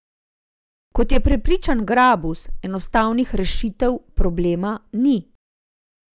Kot je prepričan Grabus, enostavnih rešitev problema ni.